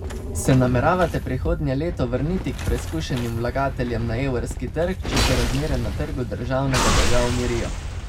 Se nameravate prihodnje leto vrniti k preskušenim vlagateljem na evrski trg, če se razmere na trgu državnega dolga umirijo?